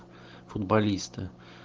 футболисты